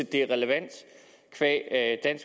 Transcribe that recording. det er relevant qua at